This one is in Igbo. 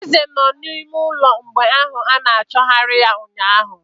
Eze nọ n'ime ụlọ mgbe ahụ a na-achọgarị ya ụnyaahụ.